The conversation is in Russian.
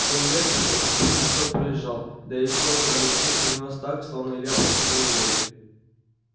семь лет тут этот листок пролежал да и всё кроме книг хранилось так словно илья просто в универе